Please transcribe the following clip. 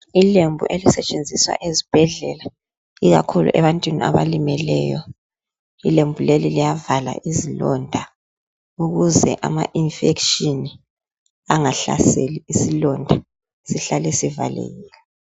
Ilembu elisetshenziswa ezibhedlela ikakhulu ebantwini abalimeleyo ilembu leli liyavala izilonda ukuze ama-infection angahlaseli isilonda sihlale sivalekile.